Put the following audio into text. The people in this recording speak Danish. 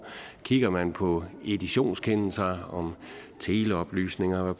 kigger man på editionskendelser om teleoplysninger